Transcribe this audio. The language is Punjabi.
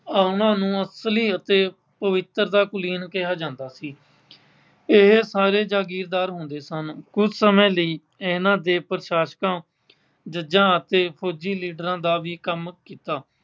ਉਨ੍ਹਾਂ ਨੂੰ ਅਸਲੀ ਅਤੇ ਪਵਿੱਤਰ ਦਾ ਕੁਲੀਨ ਕਿਹਾ ਜਾਂਦਾ ਸੀ। ਇਹ ਸਾਰੇ ਜਾਗੀਰਦਾਰ ਹੁੰਦੇ ਸਨ। ਕੁੱਝ ਸਮੇਂ ਲਈ ਇਨ੍ਹਾਂ ਦੇ ਪ੍ਰਸ਼ਾਸ਼ਕਾਂ, ਜੱਜਾਂ ਅਤੇ ਫੌਜੀ, leaders ਦਾ ਵੀ ਕੰਮ ਕੀਤਾ।